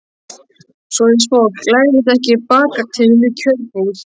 Svoleiðis fólk læðist ekki bakatil í kjörbúð.